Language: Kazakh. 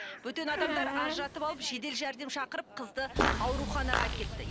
бөтен адамдар ажыратып алып жедел жәрдем шақырып қызды ауруханаға әкетті